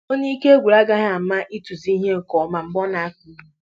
Onye ike gwụrụ agaghị ama ịtụzi ihe nke ọma mgbe ọ na-akụ ihe